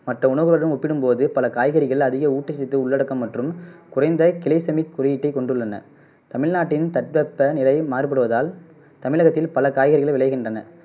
மற்ற உணவுகளுடன் ஒப்பிடும்போது பல காய்கறிகள் அதிக ஊட்டச்சத்து உள்ளடக்கம் மற்றும் குறைந்த கிலைசமிக் குறியீட்டை கொண்டுள்ளன தமிழ்நாட்டின் தட்பவெப்ப நிலை மாறுபடுவதால் தமிழகத்தில் பல காய்கறிகள் விளைகின்றன